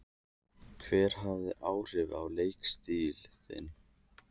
Hver hafði áhrif á leikstíl þinn?